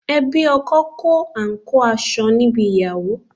Ẹbí ọkọ kó àǹkóò aṣọ níbi ìgbéyàwó